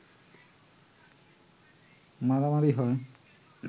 মারামারি হয়